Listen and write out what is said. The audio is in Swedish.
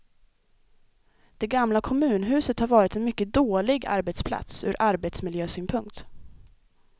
Det gamla kommunhuset har varit en mycket dålig arbetsplats ur arbetsmiljösynpunkt.